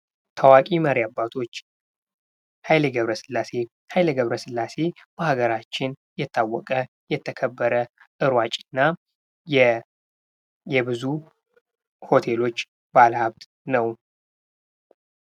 ታዋቂ መሪ አባቶች ኃይሌ ገብረሥላሴ ሃይሌ ገብረስላሴ በሀገራችን የታወቀ የተከበረ በሯጮች እና የብዙ ሆቴሎች ባለ ሀብት ነው።